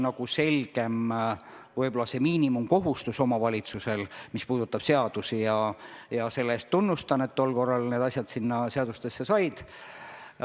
Näiteks on see miinimumkohustus omavalitsusel nüüd selgem, mis puudutab seadusi, ja selle eest tunnustan, et tol korral need asjad sinna seadustesse said.